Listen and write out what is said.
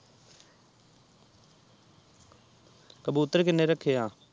ਕਬੂਤਰ ਕੀਨੇ ਰੱਖੇ ਆ